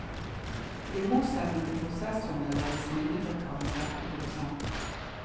I motsetning til prosessorene lages minnebrikker av en rekke produsenter.